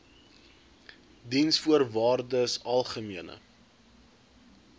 diensvoorwaardesalgemene